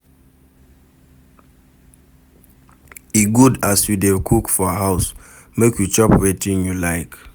E good as you dey cook for house, make you chop wetin you like.